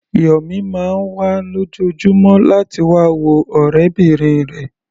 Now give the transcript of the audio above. Yọ̀mí máa ń wá lójoojúmọ́ láti wá wo ọ̀rẹ́bìnrin rẹ̀.